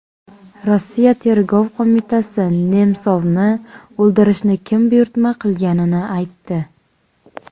Rossiya tergov qo‘mitasi Nemsovni o‘ldirishni kim buyurtma qilganini aytdi.